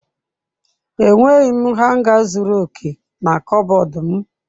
Enweghị m hanga zuru oke na kọbọd m.